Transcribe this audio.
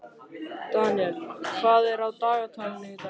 Daniel, hvað er á dagatalinu í dag?